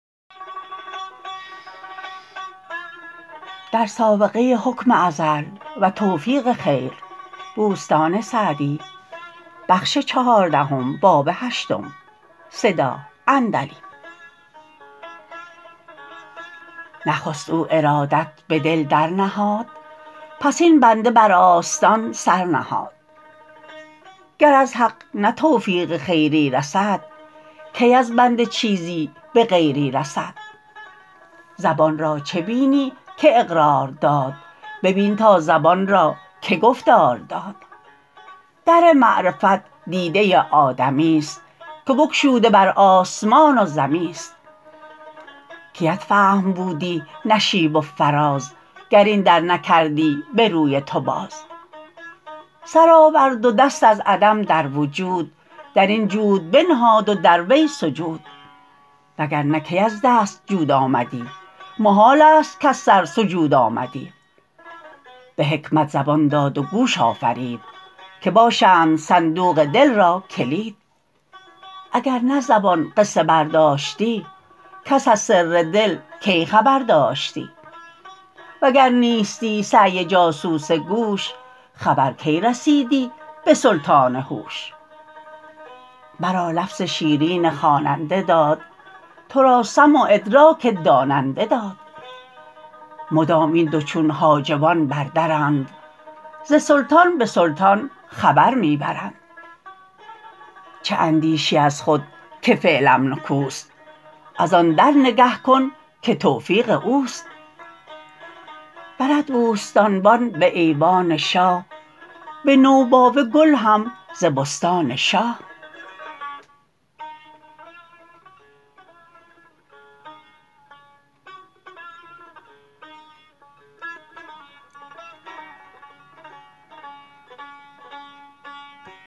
نخست او ارادت به دل در نهاد پس این بنده بر آستان سر نهاد گر از حق نه توفیق خیری رسد کی از بنده چیزی به غیری رسد زبان را چه بینی که اقرار داد ببین تا زبان را که گفتار داد در معرفت دیده آدمی است که بگشوده بر آسمان و زمی است کیت فهم بودی نشیب و فراز گر این در نکردی به روی تو باز سر آورد و دست از عدم در وجود در این جود بنهاد و در آن سجود وگرنه کی از دست جود آمدی محال است کز سر سجود آمدی به حکمت زبان داد و گوش آفرید که باشند صندوق دل را کلید اگر نه زبان قصه برداشتی کس از سر دل کی خبر داشتی وگر نیستی سعی جاسوس گوش خبر کی رسیدی به سلطان هوش مرا لفظ شیرین خواننده داد تو را سمع و ادراک داننده داد مدام این دو چون حاجبان بر درند ز سلطان به سلطان خبر می برند چه اندیشی از خود که فعلم نکوست از آن در نگه کن که توفیق اوست برد بوستانبان به ایوان شاه به نوباوه گل هم ز بستان شاه